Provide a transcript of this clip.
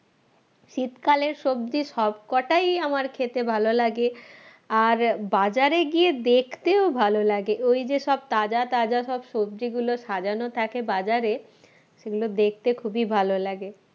শীতকালের সবজি সবকটাই আমার খেতে ভালো লাগে আর বাজারে গিয়ে দেখতেও ভালো লাগে ওই যে সব তাজা তাজা সব সবজিগুলো সাজানো থাকে বাজারে সেগুলো দেখতে খুবই ভালো লাগে